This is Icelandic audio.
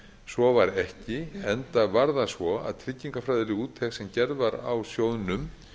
svo var ekki enda var það svo að tryggingafræðileg úttekt sem gerð var á sjóðnum